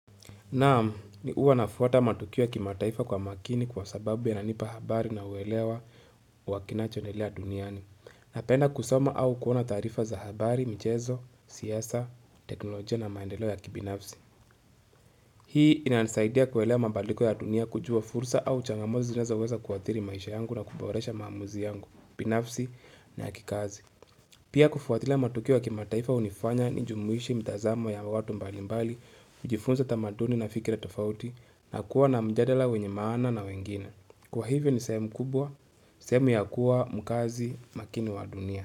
Nam, ni uwa nafuata matukio ya kima taifa kwa makini kwa sababu ya nanipa habari na uelewa wa kinachoendelea duniani. Na penda kusoma au kuona taarifa za habari, mchezo, siasa, teknolojia na maendeleo ya kibinafsi. Hii inanisaidia kuelewa mabadliko ya dunia kujua fursa au changamozi zinazo weza kuathiri maisha yangu na kuboresha maamuzi yangu, binafsi na kikazi. Pia kufuatila matukio ya kima taifa hunifanya ni jumuishi mitazamo ya watu mbali mbali, nijifunze tamaduni na fikira tofauti, na kuwa na mjadala wenye maana na wengine. Kwa hivyo ni sehemu kubwa, sehemu ya kuwa mkazi makini wa dunia.